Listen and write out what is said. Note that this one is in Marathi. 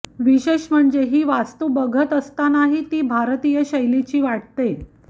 विशेष म्हणजे ही वास्तू बघत असतानाही ती भारतीय शैलीची वाटते